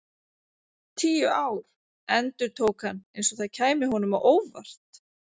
Tíu ár, endurtók hann eins og það kæmi honum á óvart.